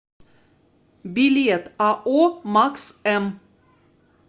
билет ао макс м